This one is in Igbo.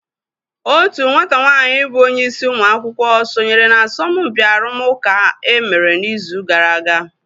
Otu nwata nwaanyị bụ onye isi ụmụ akwụkwọ sonyere na asọmpi arụmụka e mere n'izu gara aga.